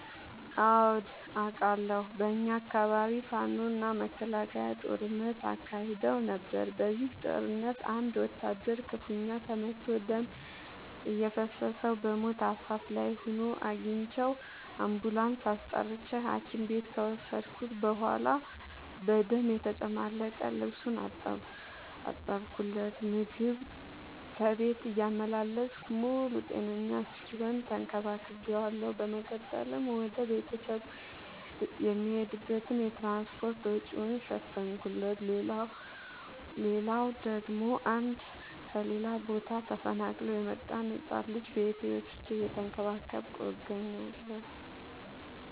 አዎድ አቃለሁ። በኛ አካባቢ ፋኖ እና መከላከያ ጦርነት አካሂደው ነበር። በዚህ ጦርነት አንድ ወታደር ክፋኛ ተመቶ ደም እየፈሰሰው በሞት አፋፍ ላይ ሆኖ አግኝቼው። አንቡላንስ አስጠርቼ ሀኪም ቤት ከወሰድከት በኋላ በደም የተጨማለቀ ልብሱን አጠብለት። ምግብ ከቤት እያመላለስኩ ሙሉ ጤነኛ እስኪሆን ተከባክ ቤዋለሁ። በመቀጠልም ወደ ቤተሰቡ የሚሄድበትን የትራንስፓርት ወጪውን ሸፈንኩለት። ሌላላው ደግሞ አንድ ከሌላ ቦታ ተፈናቅሎ የመጣን ህፃን ልጅ ቤቴ ወስጄ እየተንከባከብኩ እገኛለሁ።